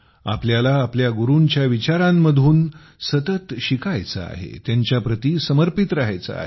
आपल्याला आपल्या गुरूंच्या विचारांतून सतत शिकायचे आहे त्यांच्याप्रती समर्पित राहायचे आहे